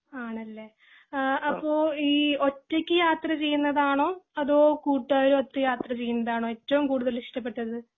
ആണല്ലേ ആഹ് അപ്പൊ ഈ ഒറ്റക് യാത്ര ചെയ്യുന്നതാണോ അതോ കൂട്ടുകാരും ഒത്ത് യാത്ര ചെയ്യുന്നതാണോ ഏറ്റവും കൂടുതൽ ഇഷ്ടപ്പെട്ടത്